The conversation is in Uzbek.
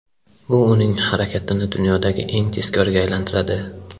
Bu uning harakatini dunyodagi eng tezkoriga aylantiradi.